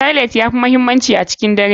Tailight ya fi muhimmanci a cikin dare.